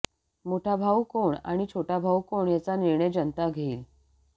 मोठा भाऊ कोण आणि छोटा भाऊ कोण याचा निर्णय जनता घेईल